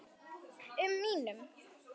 um mínum.